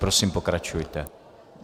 Prosím, pokračujte.